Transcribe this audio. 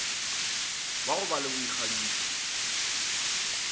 wa go ba le boikgantšho